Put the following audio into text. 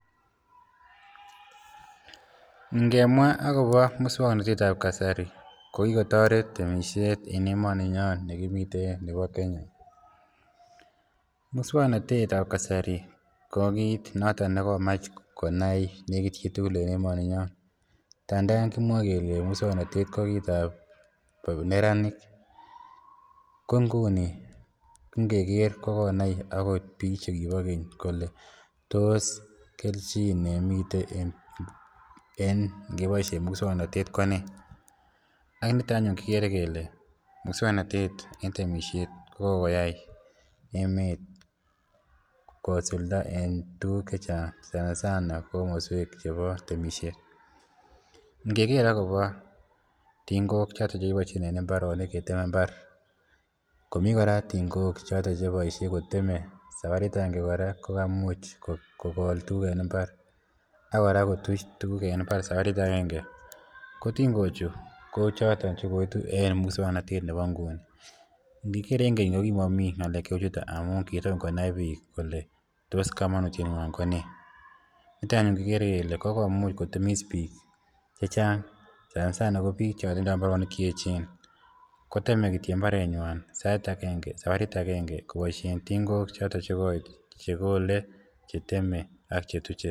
ngemwaa agobo muswoknotet ab kasari kokigotoret temishet en emoninyoon negimiten nebo kenya, muswoknotet ab kasari ko kiit noton negomach konai negiit chitugul en emoni nyoon, ngandan kimwoe kele muswoknotete ko kitaab neraniik ko nguni ingeer kogonai agot biik chegibo keny kole tos kelchin nemiten en ningeboishen muswoknotet ko nee, ak niton anyuun kegere kele muswoknotet en temishet kokogoyai emet kosulda en tuguuk chechang sanasana komosweek chebo temishet, ngegeer agobo tingook choton chekiboishen en imbaronik keteme imbaar komii koraa tingook cheboishe koteme sabariit agenge koraa kogaimuch kogool tuguk en imbaaar ak koraa kotuch tuguk en imbaar sabariit aenge, ko tingochu ko choton chegoitu en muswoknotet nebo nguni, nigeer en keny ko kimomii ngaleek cheuu chuto amuun kitom konaii biik kole tos komonutyeet nywaan konee, nito anyun kigere kele kogomuuch kotemiis biik chechang sana sana ko biik chotindoo imbaronik cheechen koteme kityo imbaronik kwaak sait agenge sabariit agenge koboishen tingook choton chegoit chegole, cheteme ak chetuche.